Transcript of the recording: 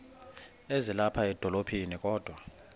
ezilapha edolophini kodwa